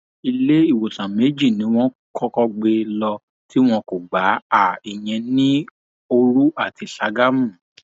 iléewòsàn méjì ni wọn kọkọ gbé e lọ tí wọn kò gbá a ìyẹn ní ní òru àti ságámù